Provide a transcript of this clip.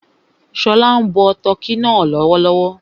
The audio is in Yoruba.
Ṣọlá ń bọ tọ́kì náà lọ́wọ́